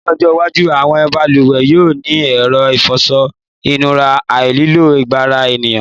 Ní ọjọ́́-iwájú àwọn balùwẹ̀ yóò ní ẹ̀rọ ìfọṣọ-ìnura aláìlo-agbára ènìyàn.